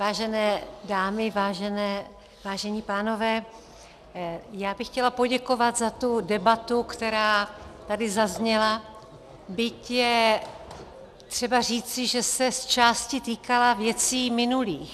Vážené dámy, vážení pánové, já bych chtěla poděkovat za tu debatu, která tady zazněla, byť je třeba říci, že se zčásti týkala věcí minulých.